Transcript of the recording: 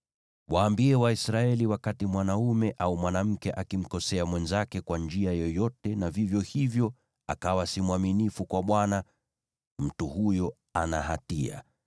“Waambie Waisraeli, ‘Wakati mwanaume au mwanamke akimkosea mwenzake kwa njia yoyote, na kwa hivyo akawa si mwaminifu kwa Bwana , mtu huyo ana hatia,